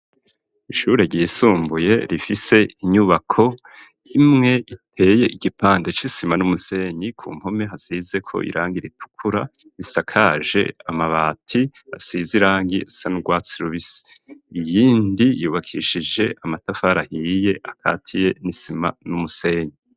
Ishure ryisumbuye rifise inyubako imwe iteye igipande c'isima n'umusenyi ku mpome hazizeko irangi iritukura isakaje amabati asize irangi risa n'urwatsi rubisi iyindi yubakishije amatafari ahiye akatiye n'isima n'umusenyi.